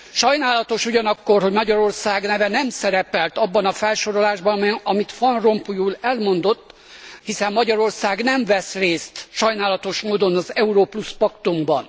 Sajnálatos ugyanakkor, hogy Magyarország neve nem szerepelt abban a felsorolásban, amit Van Rompuy úr elmondott, hiszen Magyarország nem vesz részt sajnálatos módon az Euró Plusz Paktumban.